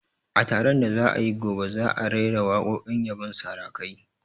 A taron da za'a yi gobe, za'a raira waƙoƙin yabon sarakai